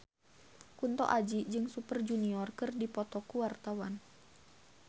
Kunto Aji jeung Super Junior keur dipoto ku wartawan